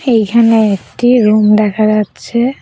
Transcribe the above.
এইখানে একটি রুম দেখা যাচ্ছে।